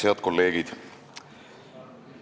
Head kolleegid!